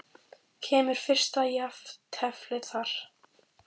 Kemur fyrsta jafnteflið þar?